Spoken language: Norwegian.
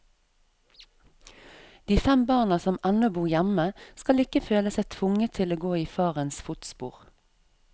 De fem barna som ennå bor hjemme, skal ikke føle seg tvunget til å gå i farens fotspor.